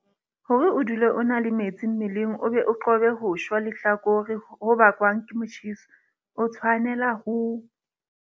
Hore o dule o na le metsi mmeleng o be o qobe ho shwa lehlakore ho bakwang ke motjheso, o tshwanela ho.